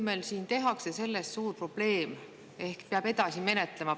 Meil siin tehakse sellest suur probleem: peab edasi menetlema.